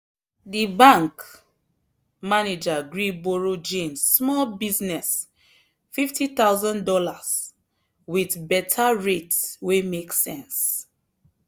the bank manager gree borrow jane small business fifty thousand dollars with better rate wey make sense.